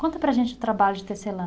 Conta para a gente o trabalho de tecelã.